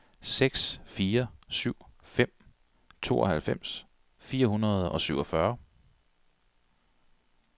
seks fire syv fem tooghalvfems fire hundrede og syvogfyrre